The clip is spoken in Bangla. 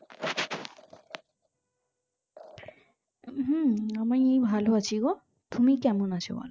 হম আমি ভালো আছি গো তুমি কেমন আছো বোলো